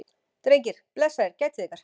Drengir, blessaðir gætið ykkar.